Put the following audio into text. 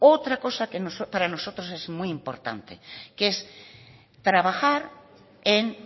otro cosa que para nosotros es muy importante que es trabajar en